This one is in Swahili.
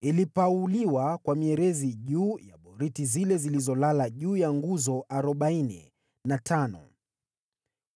Ilipauliwa kwa mierezi juu ya boriti zile zilizolala juu ya nguzo arobaini na tano,